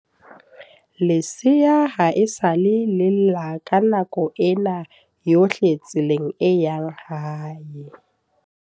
Lesea ha esale le lla ka nako ena yohle tseleng e yang hae.